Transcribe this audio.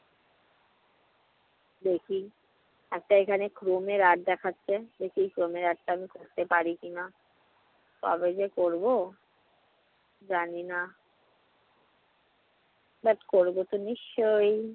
দেখি। একটা এখানে art দেখাচ্ছে, দেখি ঘুমের art টা করতে পার কিনা। কবে যে করবো। জানি না but করবতো নিশ্চয়।